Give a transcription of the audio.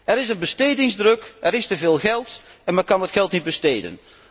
Er is een bestedingsdruk, er is te veel geld en men kan het geld niet besteden.